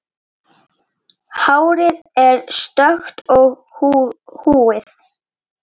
Hárið er stökkt og húðin.